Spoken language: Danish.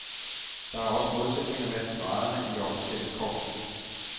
Der er også modsætninger mellem graderne i officerskorpset.